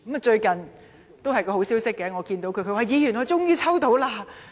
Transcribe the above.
最近終於迎來了好消息，這位長者告訴我："李議員，我終於抽到了！